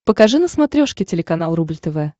покажи на смотрешке телеканал рубль тв